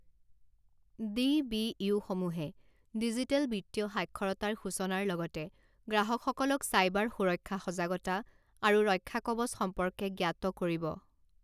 ডিবিইউসমূহে digital বিত্তীয় সাক্ষৰতাৰ সূচনাৰ লগতে গ্ৰাহকসকলক চাইবাৰ সুৰক্ষা সজাগতা আৰু ৰক্ষাকৱচ সম্পৰ্কে জ্ঞাত কৰিব